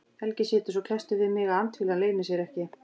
Helgi situr svo klesstur við mig að andfýlan leynir sér ekki.